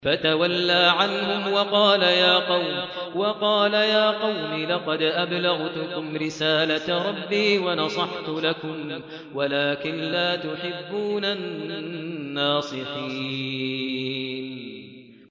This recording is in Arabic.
فَتَوَلَّىٰ عَنْهُمْ وَقَالَ يَا قَوْمِ لَقَدْ أَبْلَغْتُكُمْ رِسَالَةَ رَبِّي وَنَصَحْتُ لَكُمْ وَلَٰكِن لَّا تُحِبُّونَ النَّاصِحِينَ